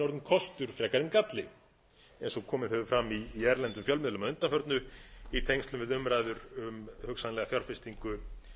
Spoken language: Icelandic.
en galli eins og komið hefur að í erlendum fjölmiðlum að undanförnu í tengslum við umræður um hugsanlega fjárfestingu